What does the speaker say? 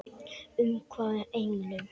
Umvafin englum.